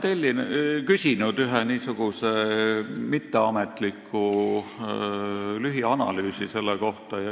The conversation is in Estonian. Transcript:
Ma olen küsinud ühe mitteametliku lühianalüüsi selle kohta.